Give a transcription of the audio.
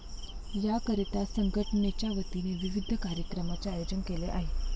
याकरीता संघटनेच्यावतीने विविध कार्यक्रमाचे आयेजन केले आहे.